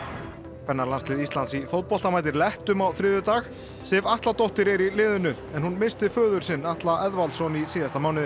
kvennalandslið Íslands í fótbolta mætir lettum á þriðjudag Sif Atladóttir er í liðinu en hún missti föður sinn Atla Eðvaldsson í síðasta mánuði